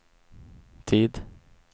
tid